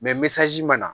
mana